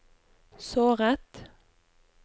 såret